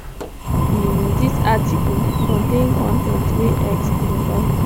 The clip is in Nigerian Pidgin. um dis article contain con ten t wey x provide